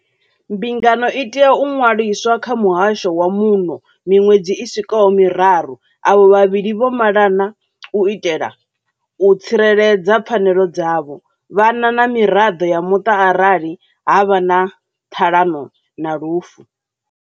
Mbingano i tea u ṅwa liswa kha muhasho wa muno miṅwedzi i swikaho miraru avho vhavhili vho malana u itela u tsireledza pfanelo dzavho, vhana na miraḓo ya muṱa arali ha vha na ṱhalano na lufu.